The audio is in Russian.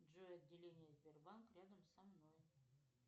джой отделение сбербанк рядом со мной